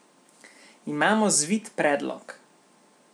Imamo zvit predlog!